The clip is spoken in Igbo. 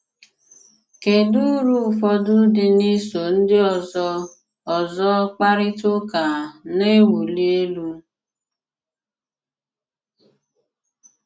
kedụ ùrụ̀ ụfọdụ́ dị́ n’ísò ndị ọzọ́ ọzọ́ kparịta ụka na-ewuli elú?